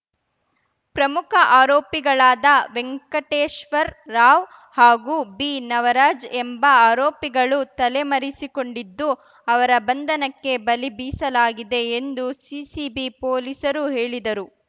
ಪ್ರಮುಖ ಆರೋಪಿಗಳಾದ ವೆಂಕಟೇಶ್ವರ್ ರಾವ್‌ ಹಾಗೂ ಬಿನವರಾಜ್‌ ಎಂಬ ಆರೋಪಿಗಳು ತಲೆಮರೆಸಿಕೊಂಡಿದ್ದು ಅವರ ಬಂಧನಕ್ಕೆ ಬಲಿ ಬೀಸಲಾಗಿದೆ ಎಂದು ಸಿಸಿಬಿ ಪೊಲೀಸರು ಹೇಳಿದರು